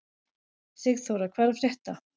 Sigþóra, hvað er að frétta?